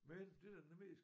Men det der nemlig er